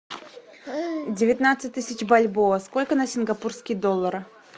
девятнадцать тысяч бальбоа сколько на сингапурские доллары